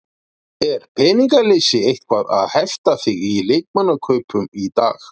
Er peningaleysi eitthvað að hefta þig í leikmannakaupum í dag?